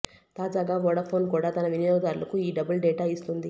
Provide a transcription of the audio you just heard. తాజాగా వొడాఫోన్ కూడా తన వినియోగదారులకు ఈ డబుల్ డేటా ఇస్తోంది